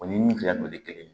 O ni min filɛ nin ye kelen ye